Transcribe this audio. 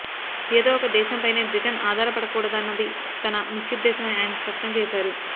ఏదో ఒక దేశంపైనే బ్రిటన్ ఆధారపడకూడదన్నది తన ముఖ్యోద్దేశమని ఆయన స్పష్టం చేశారు